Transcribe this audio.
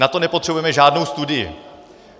Na to nepotřebujeme žádnou studii.